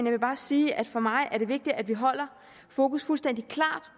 vil bare sige at for mig er det vigtigt at vi holder fokus fuldstændig klart